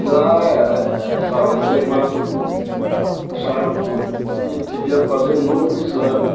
E lá, sabe, as irmãs acharam que que a gente devia fazer um novo exame.